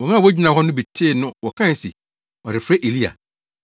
Wɔn a wogyina hɔ no bi tee no wɔkae se, “Ɔrefrɛ Elia.”